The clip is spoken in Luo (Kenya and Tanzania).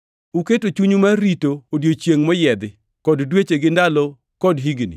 Uketo chunyu mar rito odiechienge moyiedhi, kod dweche gi ndalo kod higni!